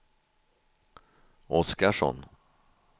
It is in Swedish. Oskarsson